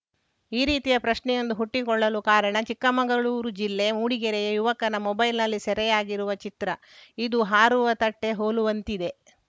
ಈ ರೀತಿಯ ಪ್ರಶ್ನೆಯೊಂದು ಹುಟ್ಟಿಕೊಳ್ಳಲು ಕಾರಣ ಚಿಕ್ಕಮಂಗಳೂರು ಜಿಲ್ಲೆ ಮೂಡಿಗೆರೆಯ ಯುವಕನ ಮೊಬೈಲ್‌ನಲ್ಲಿ ಸೆರೆಯಾಗಿರುವ ಚಿತ್ರ ಇದು ಹಾರುವ ತಟ್ಟೆಹೋಲುವಂತಿದೆ